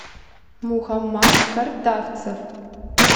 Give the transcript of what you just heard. мухаммад картавцев